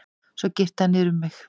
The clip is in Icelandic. Svo girti hann niður um mig.